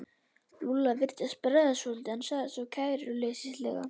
Lúlla virtist bregða svolítið en sagði svo kæruleysislega.